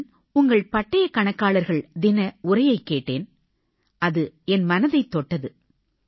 நான் உங்கள் பட்டயக் கணக்காளர்கள் தின உரையைக் கேட்டேன் அது என் மனதைத் தொட்டது